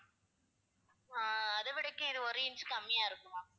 அஹ் அதவிடக்கும் இது ஒரு inch கம்மியா இருக்கும் ma'am